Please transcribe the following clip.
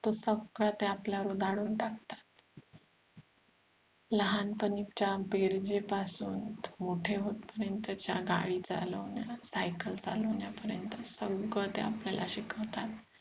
तो सगळा ते आपल्यावर उधाडून टाकतात लहानपणी जाम बेरजेपासून मोठे होत पर्यंत च्या गाडी चालवणे सायकल चालवण्यापर्यंत सगळं ते आपल्याला शिकवतात